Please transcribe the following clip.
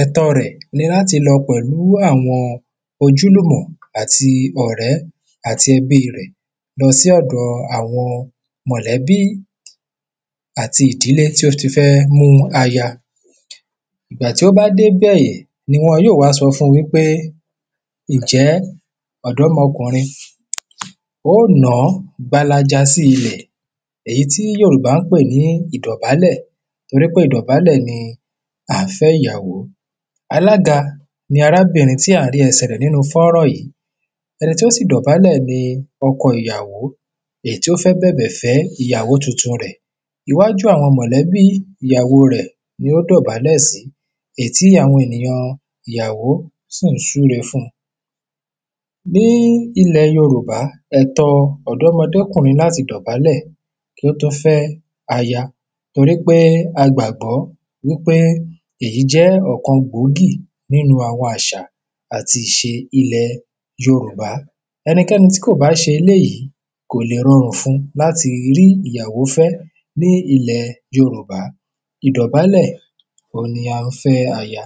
ẹ̀tọ rẹ̀ ni láti lọ pẹ̀lú àwọn ojúlùmọ̀ àti ọ̀rẹ àti ẹbí rẹ̀. lọ sí ọ̀dọ àwọn mọ̀lẹ́bí àti ìdílé tí ó ti fẹ́ mú aya ìgbà tí ó bá dé ibẹ̀, ni wọn yóò wá sọ fún un wípé, ǹjẹ́ ọ̀dọ́mọkùrin o nàá gbalaja sí ilẹ̀ èyí tí Yòrùbá ń pè ní ìdọ̀bálẹ̀ torípé ìdọ̀bálẹ̀ là ń fẹ́ ìyàwó alága ni arábìrin tí à ń rí ẹsẹ̀ rẹ̀ nínu fọ́rán yìí, ẹni tí ó sì dọ̀bálẹ̀ ni ọkọ ìyàwó, èyí tó fẹ́ bẹ̀bẹ̀ fẹ́ ìyàwó tuntun rẹ̀. iwájú àwọn mọ̀lẹ́bí ìyàwo rẹ̀ ni ó dọ̀bálẹ̀ sí, èyí tí àwọn ènìyàn ìyàwo sì ń súre fún un ní ilẹ̀ Yorùbá ẹtọ ọ̀dọ́mọdékùrin ni láti dọ̀bálẹ̀ kó tó fẹ́ aya torí pé a gbàgbọ́ ípé èyí jẹ́ ọ̀kan gbòógí nínu àwọn àṣa àti ìṣe ìlẹ̀ Yorùbá ẹnikẹ́ni tí kò bá ṣe eléyìí kò lè rọrùn fún un láti fẹ aya ní ilẹ̀ Yorùbá, ìdọ̀bálẹ̀ oun ni à ń fẹ́ aya.